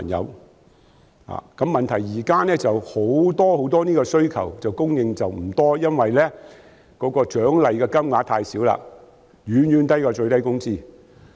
現在的問題是這方面的服務供應不多，因為獎勵金額太少，遠遠低於最低工資。